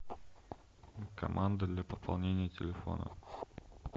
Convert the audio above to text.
команда для пополнения телефона